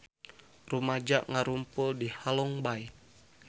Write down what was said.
Rumaja ngarumpul di Halong Bay